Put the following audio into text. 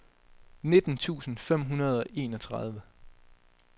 nitten tusind fem hundrede og enogtredive